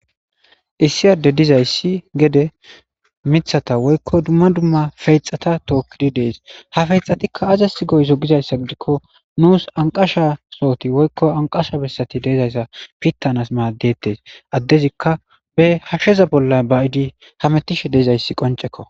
issi adde dizayssi gede mithata woykko dumma dumma feyxata tookkidi dees ha feyxxatikka azasi goyzo gizayssa gidikko nuus anqasha sohoti woykko anqasha bessati deezayssa pittanas maaddettes addezikka be hashsheza bolla bayidi hametishe deizayssi qoncekko